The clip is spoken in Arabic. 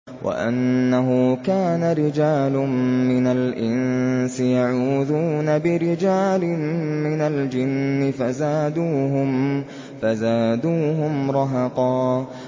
وَأَنَّهُ كَانَ رِجَالٌ مِّنَ الْإِنسِ يَعُوذُونَ بِرِجَالٍ مِّنَ الْجِنِّ فَزَادُوهُمْ رَهَقًا